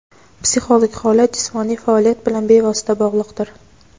Psixologik holat jismoniy faoliyat bilan bevosita bog‘liqdir.